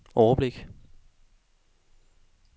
overblik